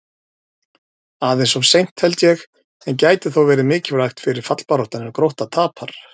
Aðeins of seint, held ég, en gæti þó verið mikilvægt fyrir fallbaráttuna ef Grótta tapar!